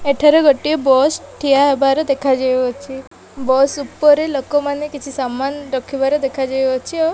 ଏଠାରେ ଗୋଟେଏ ବସ୍ ଠିଆହବାର ଦେଖାଯାଉଅଛି ବସ୍ ଉପରେ ଲୋକ ମାନେ କିଛି ରଖିବାର ଦେଖାଯାଉଅଛି ଓ --